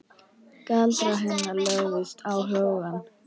Galdrar hennar lögðust á hugann.